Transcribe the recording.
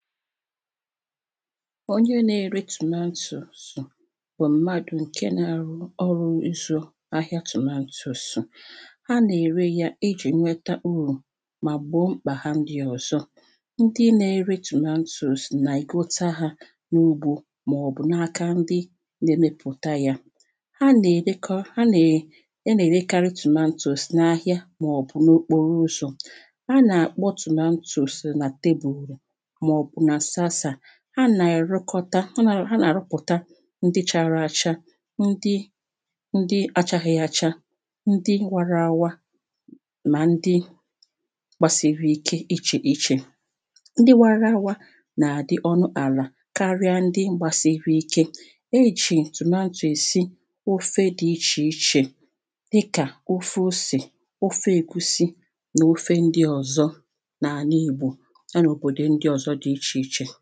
̀ onye na-ere tòmatòsù bụ naiki nke na-arụ ọrụ isho ahịa tòmatosụ a na-ere ya iji nweta urù mà gbòo mkpà ha ndịọzọ ndị na-ere tòmatòsù na-egote ha n'ugwu màọbụ̀ n'aka ndị na-emepụta ya ha nà-èrekọ ha na ana-erekarị tòmatòsù n'ahịa maọbụ n'okporoụzọ anà-àkpọ tòmatòsù na tebùlù màọbụ̀ nà saasà ha na-erekọta ha ha nà-àrụpụta ndị chara acha ndị ndị achaghị acha ndị wara awa na ndị gbasiri ike iche iche ndị wara awa nà-àdị ọnụ àlà karịa ndị gbasịrị ike ejì tòmatòsù èsi ofe dị iche iche dịka ofe osè ofe egusi nà ofe ndịọ̀zọ n'àlà Ìgbò yanà òbòdò ndịọ̀zọ dị ichè ichè